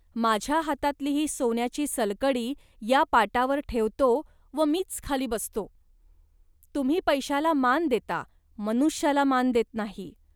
माझ्या हातातली ही सोन्याची सलकडी या पाटावर ठेवतो व मी खालीच बसतो. तुम्ही पैशाला मान देता, मनुष्याला मान देत नाही